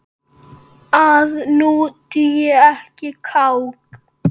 að nú dugi ekkert kák!